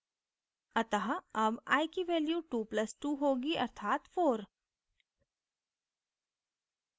अतः अब i की value 2 + 2 होगी अर्थात 4